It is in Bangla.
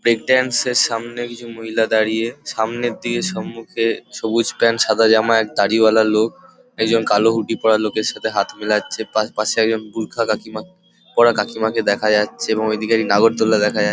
ব্রেক ড্যান্সের সামনে কিছু মহিলা দাঁড়িয়ে সামনের দিকে সম্মুখে সবুজ প্যান্ট সাদা জামা এক দাড়িওয়ালা লোক একজন কালো হুডি পরা লোকের সাথে হাত মেলাচ্ছে। পাশ পাশে একজন বুর্খা কাকিমা পরা কাকিমাকে দেখা যাচ্ছে এবং ওইদিকে এক নাগরদোলনা দেখা --